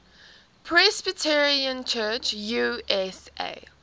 presbyterian church usa